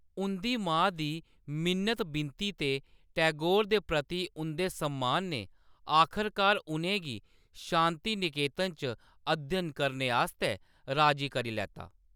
उंʼदी मां दी मिन्नत-बिनती ते टैगोर दे प्रति उंʼदे सम्मान ने आखरकार उʼनें गी शांति निकेतन च अध्ययन करने आस्तै राजी करी लैता।